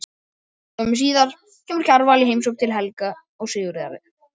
Skömmu síðar kemur Kjarval í heimsókn til Helga og Sigríðar.